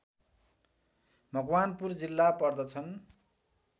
मकवानपुर जिल्ला पर्दछन्